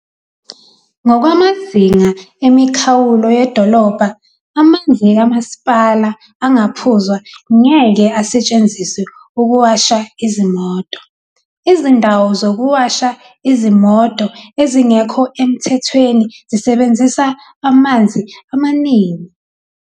"Ngokwamazinga emikhawulo 6B yedolobha, amanzi kama sipala angaphuzwa ngeke asetshenziswe ukuwasha izimoto. Izindawo zokuwasha izimoto ezingekho emthethweni zisebenzisa amanzi amaningi."